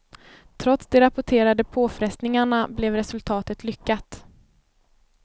Trots de rapporterade påfrestningarna blev resultatet lyckat.